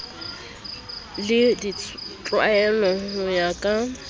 le ditlwaelo ho ya ka